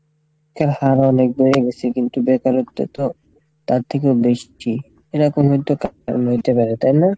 কিন্তু বেকারত্ব তো তার থেকেও বেশি তাই না?